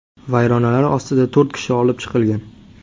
Vayronalar ostida to‘rt kishi olib chiqilgan.